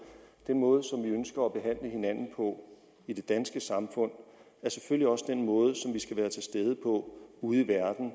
den måde som vi ønsker at behandle hinanden på i det danske samfund er selvfølgelig også den måde som vi skal være til stede på ude i verden